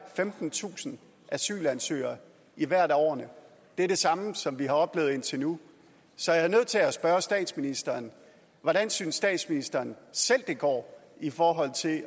femtentusind asylansøgere i hvert af årene det er det samme som vi har oplevet indtil nu så jeg er nødt til at spørge statsministeren hvordan synes statsministeren selv det går i forhold til at